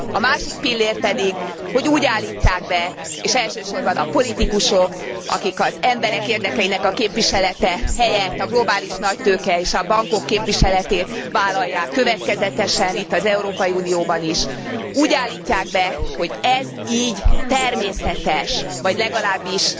A másik pillér pedig, hogy úgy állítják be és elsősorban a politikusok, akik az emberek érdekeinek a képviselete helyett a globális nagytőke és a bankok képviseletét vállalják következetesen itt az Európai Unióban is hogy ez így természetes, vagy legalábbis